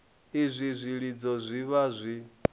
izwi zwilidzo zwi vha zwi